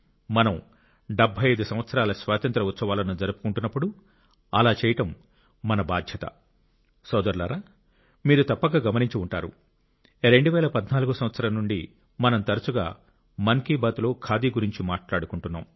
మనం 75 సంవత్సరాల స్వాతంత్ర్య ఉత్సవాలను జరుపుకుంటున్నప్పుడు అలా చేయటం మన బాధ్యత సోదరులారా మీరు తప్పక గమనించి ఉంటారు 2014 సంవత్సరం నుండి మనం తరచుగా మన్ కి బాత్ లో ఖాదీ గురించి మాట్లాడుకుంటున్నాం